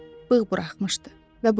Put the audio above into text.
Bığ buraxmışdı və budur.